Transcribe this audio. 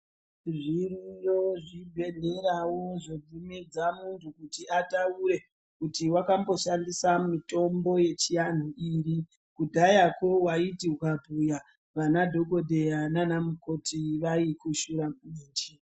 Zviriyo zvibhedhlera wo zvobvumidza munhu kuti ataure kuti wakamboshandisa mutombo yechianhu iri kudhayakwo waiti ukabhuya vana dhokodheya nana mukoti vaikushora kumeshi.